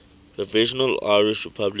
provisional irish republican